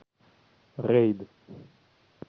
рейд